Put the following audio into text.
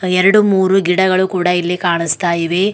ಎರಡು ಮೂರು ಗಿಡಗಳು ಕೂಡ ಇಲ್ಲಿ ಕಾಣಸ್ತಾ ಇವೆ.